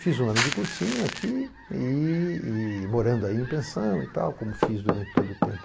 Fiz um ano de cursinho aqui e e morando aí em pensão e tal, como fiz durante todo o tempo.